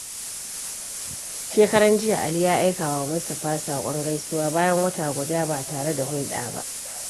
Shekaran jiya, Ali ya aika wa Mustapha saƙon gaisuwa bayan wata guda ba tare da hulɗa ba.